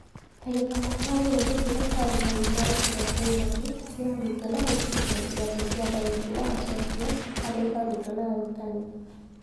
Ta gĩthomo kĩa bũrũri kĩrĩa kĩarũmagĩrĩra ikĩro cia irathi cia arutwo cia gũthikĩrĩria ĩrathi cia thauti na macokio harĩ arutwo na arutani.